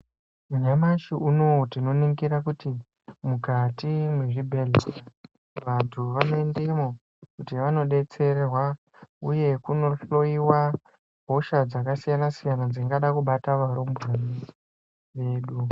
Nyamashi unowu tinoningira kuti, mwukati mwezvibhedhlera vantu vanoendemo kuti vanodetserwa uye kunohloyiwa hosha dzakasiyana-siyana dzingada kubata varumbwana vedu.